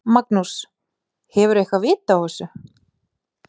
Magnús: Hefurðu eitthvað vit á þessu?